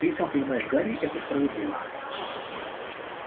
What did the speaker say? ты и сам понимаешь гарри это справедливо